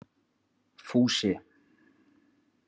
Fúsi